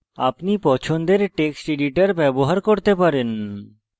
আপনি পছন্দের text editor ব্যবহার করতে পারেন